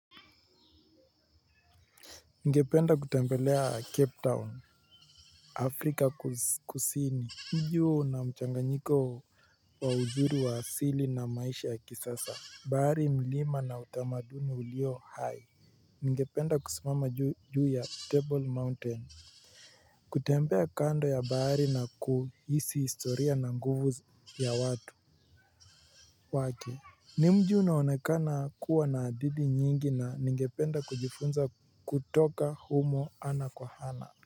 Ningependa kutembelea Cape Town Afrika kuzi kusini juu na mchanganyiko wa uzuri wa asili na maisha ya kisasa bahari mlima na utamaduni ulio hai. Ningependa kusimama juu ya Table Mountain. Kutembea kando ya bahari na kuhisi historia na nguvu ya watu Wake. Ni mji unaonekana kuwa na adidi nyingi na ningependa kujifunza kutoka humo ana kwa ana.